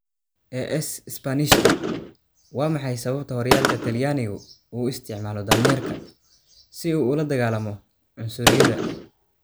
(AS - Isbaanishka) Waa maxay sababta horyaalka Talyaanigu u isticmaalo daanyeerka si uu ula dagaallamo cunsuriyadda?